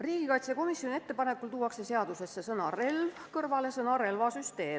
Riigikaitsekomisjoni ettepanekul tuuakse seadusesse sõna "relv" kõrvale ka sõna "relvasüsteem".